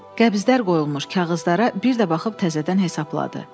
Qəbzdir qoyulmuş kağızlara bir də baxıb təzədən hesabladı.